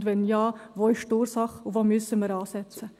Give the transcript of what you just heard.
Und, wenn ja: Wo ist die Ursache, und wo müssen wir ansetzen?